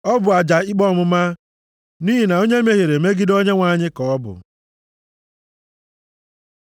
Ọ bụ aja ikpe ọmụma, nʼihi na onye mehiere megide Onyenwe anyị ka ọ bụ.”